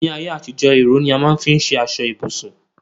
ní ayé àtijó, ìró ni a má n fi ṣe aṣọ ibùsùn